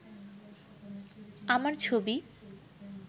আমার ছবি